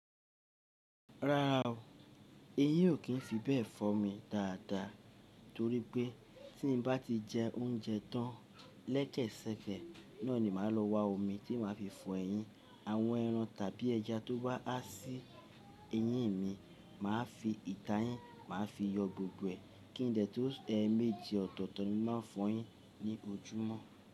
Rárá o, ẹyín ò kí n fi bẹ́ẹ̀ fọ́ mi dáadáa, torípẹ́ tí n bá ti jẹ oúnjẹ tán lẹ́sekese náà ni màá lọ wa omi tí màá fi fọ ẹyín. Àwọn ẹran tàbí ẹja tó bá á sí eyín mi, màá fi ìta yín, màá fi yọ gbogbo ẹ̀, kí n dẹ̀ tó sun, e méje ọ̀tọ̀ọ̀tọ̀ ni mo màá n fọ yín ní ojúmọ́.